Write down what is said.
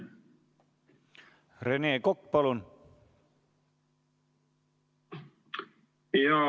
Rene Kokk, palun!